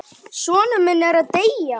Sonur minn er að deyja.